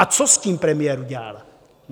A co s tím premiér udělal?